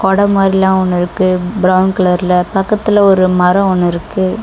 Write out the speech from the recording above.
படோ மாரிலா ஒன்னு இருக்கு பிரவுன் கலர்ல பக்கத்துல ஒரு மரோ ஒன்னு இருக்கு.